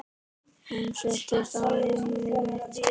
Hún settist á rúmið mitt.